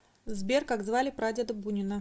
сбер как звали прадеда бунина